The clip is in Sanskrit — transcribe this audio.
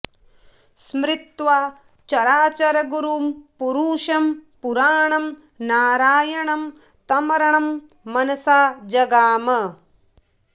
स्मृत्वा चराचरगुरुं पुरुषं पुराणं नारायणं तमरणं मनसा जगाम